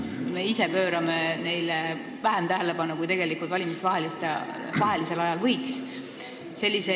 Me ise pöörame neile vähem tähelepanu, kui tegelikult valimiste vahelisel ajal võiks.